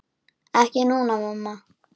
Ekki núna, mamma.